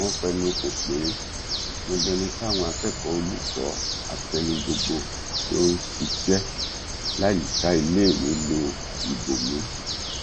wọn fẹnu kò pé dandan ni káwọn akẹkọọ olùkọ àtẹni gbogbo tó ń ṣiṣẹ láyìíká iléèwé lo ìbomú